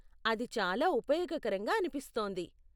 అది చాలా ఉపయోగకరంగా అనిపిస్తోంది.